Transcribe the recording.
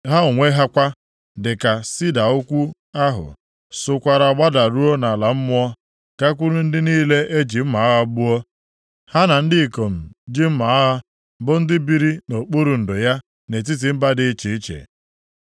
Ha onwe ha kwa, dịka sida ukwuu ahụ, sokwaara gbadaruo nʼala mmụọ, gakwuru ndị niile eji mma agha gbuo, ha na ndị ikom ji mma agha bụ ndị biri nʼokpuru ndo ya nʼetiti mba dị iche iche.